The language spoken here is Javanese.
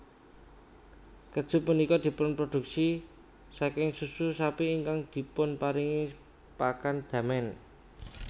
Kèju punika dipunproduksi saking susu sapi ingkang dipunparingi pakan damen